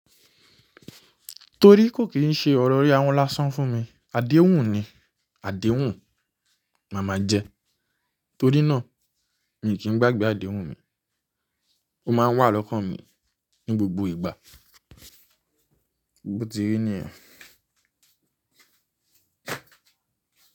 Torí kò kí ń ṣe ọ̀rọ̀ rí ahun lásán fún mi, àdéhùn ni, àdéhùn màmá jẹ. Torí náà èmi kì í gbàgbé àdéhùn mi, ó máa ń wà lọ́kàn mí ní gbògbò ìgbà. Bò ti rí nìyẹn.